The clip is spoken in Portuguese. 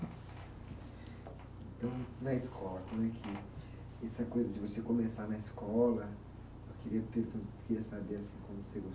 Então, na escola, como é que, essa coisa de você começar na escola, eu queria pergun, queria saber, assim, como você